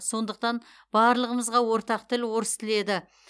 сондықтан барлығымызға ортақ тіл орыс тілі еді